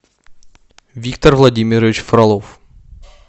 виктор владимирович фролов